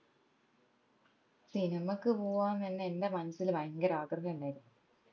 സിനിമക്ക് പോവ്വാന്നെന്നെ എന്റെ മനസ്സിൽ ഭയങ്കര ആഗ്രഹം ഇണ്ടെരുന്നു